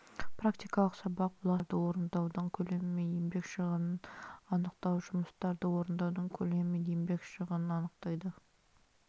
практикалық сабақ бұласырлық жұмыстарды орындаудың көлемі мен еңбек шығынын анықтауы жұмыстарды орындаудың көлемі мен еңбек шығынын анықтайды